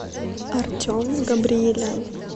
артем габриелян